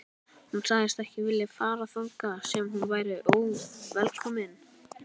Hún sagðist ekki vilja fara þangað sem hún væri óvelkomin.